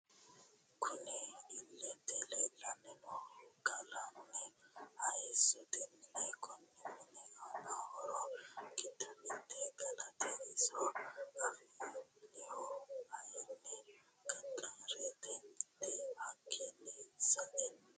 Kunni illete leelani noohu galani hayissote mineeti kunni mini aana horro giddo mitte galate iso afanihu kayiini gaxareteti hakiino sa'eena